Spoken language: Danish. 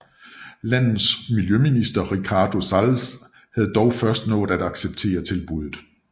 Landets miljøminister Ricardo Salles havde dog først nået at acceptere tilbuddet